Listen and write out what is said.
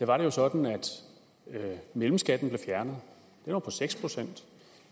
var det jo sådan at mellemskatten blev fjernet den var på seks procent